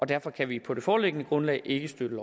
derfor kan vi på det foreliggende grundlag ikke støtte